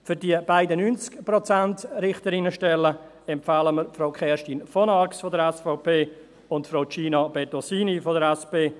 Für die beiden 90-Prozent-Richterinnenstellen empfehlen wir Frau Kerstin von Arx von der SVP uns Frau Gina Bettosini von der SP.